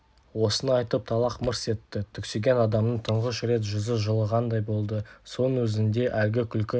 осыны айтып тайлақ мырс етті түксиген адамның тұңғыш рет жүзі жылығандай болды соның өзінде әлгі күлкі